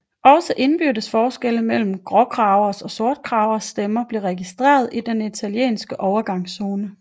Også indbyrdes forskelle mellem gråkragers og sortkragers stemmer blev registreret i den italienske overgangszone